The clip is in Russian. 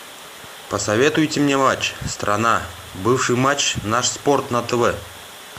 посоветуйте мне матч страна бывший матч наш спорт на тв